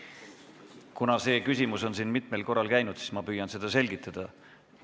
Kuna see küsimus on siit mitmel korral läbi käinud, siis ma püüan seda selgitada.